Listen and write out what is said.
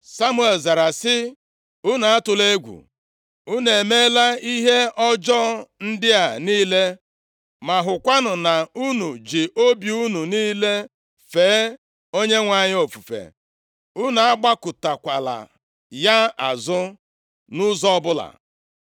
Samuel zara sị, “Unu atụla egwu. Unu emeela ihe ọjọọ ndị a niile, ma hụkwanụ na unu ji obi unu niile fee Onyenwe anyị ofufe. Unu agbakụtakwala ya azụ nʼụzọ ọbụla.